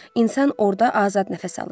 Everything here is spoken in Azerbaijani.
İnsan orda azad nəfəs alır.